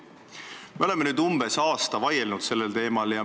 Me oleme umbes aasta aega sellel teemal vaielnud.